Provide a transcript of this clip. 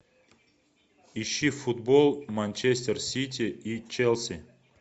ищи футбол манчестер сити и челси